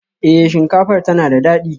Eh, shinkafar tana da dadi